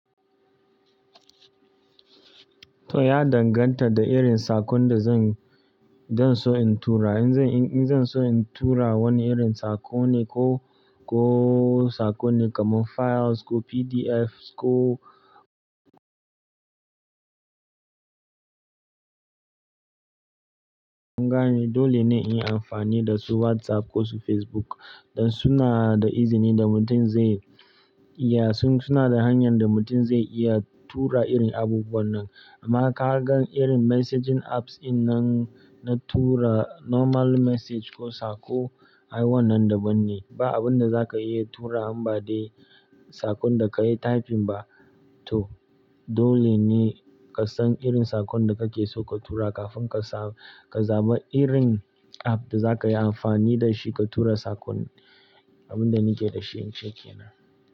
To, ya danganta da irin sakon da zan, zan so in tura. In zan, in zan so in tura wani irin sako ne ko, ko sako ne kamar files ko PDF ko in zani yi, dole ne in yi amfani da su WhatsApp ko su Facebook. Don suna da izini da mutum zai iya, suna da hanyar da mutum zai iya tura irin abubuwan nan. Amma ka gan irin messaging apps in nan na tura normal message ko sako, ai wannan daban ne. Ba abin da za ka iya tura ma de sakon da ka yi typing ba. To dole ne ka san irin sakon da kake so ka tura kafin ka sa, ka zaba irin app da za ka yi amfani da shi ka tura sakon. Abin da nike da shi, in ce kenan.